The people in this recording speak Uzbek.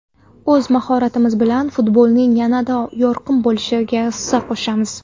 O‘z mahoratimiz bilan futbolning yanada yorqin bo‘lishiga hissa qo‘shamiz.